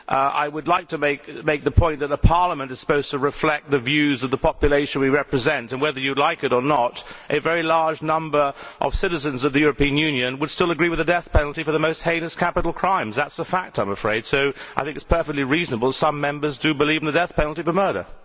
I would like to make the point that Parliament is supposed to reflect the views of the population we represent and, whether you like it or not, a very large number of citizens of the European Union still agree with the death penalty for the most heinous capital crimes. I am afraid that is a fact, so I think it is perfectly reasonable that some Members do believe in the death penalty for murder.